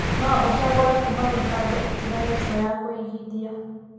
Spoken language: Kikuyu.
No ũcagũre kuuma mĩbango ĩtiganĩte ya kũigithia.